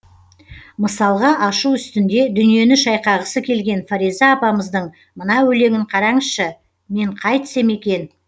мысалға ашу үстінде дүниені шайқағысы келген фариза апамыздың мына өлеңін қараңызшы мен қайтсем екен